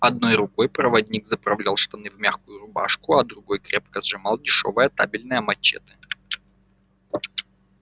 одной рукой проводник заправлял штаны в мягкую рубашку а другой крепко сжимал дешёвое табельное мачете